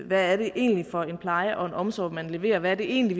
hvad det egentlig er for en pleje og omsorg man leverer og hvad det egentlig